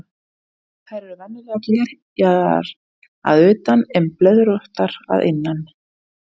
Þær eru venjulega glerjaðar að utan en blöðróttar að innan.